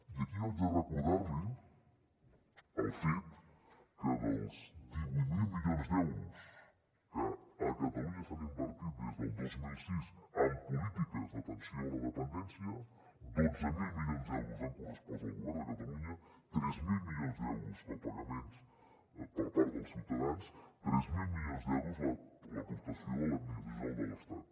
i aquí jo haig de recordar li el fet que dels divuit mil milions d’euros que a catalunya s’han invertit des del dos mil sis en polítiques d’atenció a la dependència dotze mil milions d’euros han correspost al govern de catalunya tres mil milions d’euros copagaments per part dels ciutadans tres mil milions d’euros l’aportació de l’administració general de l’estat